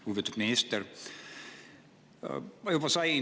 Lugupeetud minister!